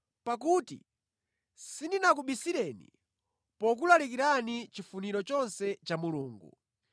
Pakuti sindinakubisireni pokulalikirani chifuniro chonse cha Mulungu.